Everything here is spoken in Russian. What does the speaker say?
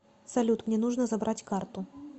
салют мне нужно забрать карту